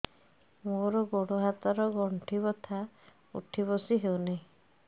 ମୋର ଗୋଡ଼ ହାତ ର ଗଣ୍ଠି ବଥା ଉଠି ବସି ହେଉନାହିଁ